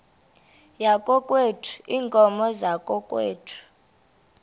yakokwethu iinkomo zakokwethu